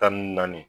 Tan ni naani